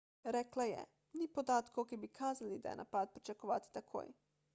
rekla je ni podatkov ki bi kazali da je napad pričakovati takoj